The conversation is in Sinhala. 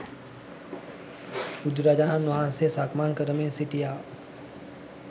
බුදුරජාණන් වහන්සේ සක්මන් කරමින් සිටියා